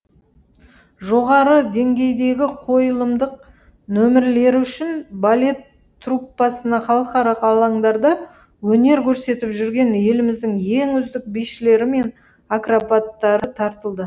жоғары деңгейдегі қойылымдық нөмірлер үшін балет труппасына халықаралық алаңдарда өнер көрсетіп жүрген еліміздің ең үздік бишілері мен акробаттары тартылды